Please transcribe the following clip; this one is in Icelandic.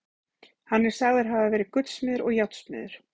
Hann er sagður hafa verið gullsmiður og járnsmiður.